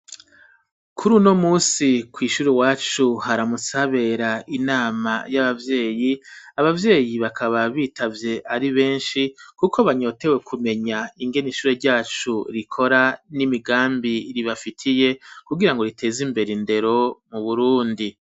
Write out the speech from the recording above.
Kuri uno musi kw'ishuri iwacu haramutse habera inama y'abavyeyi abavyeyi bakaba bitavye ari beshi kuko banyotewe kumenya ingena ishure ryacu rikora n'imigambi ribafitiye ku girango riteza imbere indero mu Burundi.